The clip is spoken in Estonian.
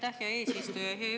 Aitäh, hea eesistuja!